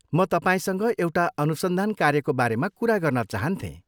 म तपाईँसँग एउटा अनुसन्धान कार्यको बारेमा कुरा गर्न चाहन्थेँ।